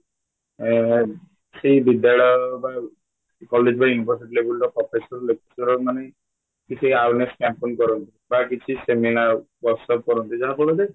ଏଁ ସେ ବିଦ୍ୟାଳୟ ବା college ବା university levelର profession lecture ମାନେ କି ସେ ଆଉଜଣେ କରନ୍ତୁ ବା କିଛି seminar ଦର୍ଶନ କରନ୍ତି ଯାହାଫଳରେ